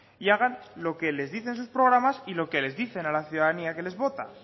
y hagan lo que les dicen sus programas y lo que les dicen a la ciudadanía que les vota